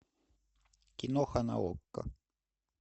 киноха на окко